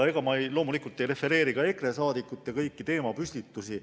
Loomulikult ei refereeri ma ka kõiki EKRE liikmete teemapüstitusi.